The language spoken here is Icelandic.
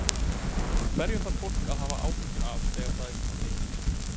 Hverju þarf fólk að hafa áhyggjur af þegar það er svona mikil mengun?